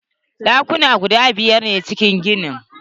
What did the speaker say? Ɗakuna guda biyar ne a cikin ginin.